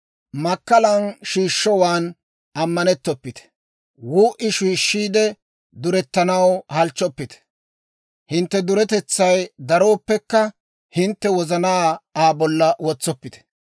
Makkalan shiishshowaan ammanettoppite; wuu'i shiishshiide durettanaw halchchoppite. Hintte duretetsay darooppekka, hintte wozanaa Aa bolla wotsoppite.